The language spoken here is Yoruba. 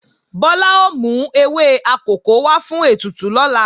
Bọ́lá ó mú ewé akòko wá fún ètùtù lọ́la